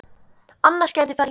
Annars geti farið illa.